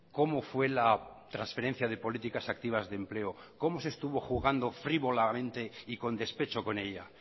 cómo fue la transferencia de políticas activas de empleo cómo se estuvo jugando frívolamente y con despecho con ella